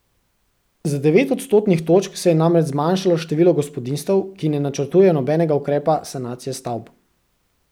Za devet odstotnih točk se je namreč zmanjšalo število gospodinjstev, ki ne načrtujejo nobenega ukrepa sanacije stavb.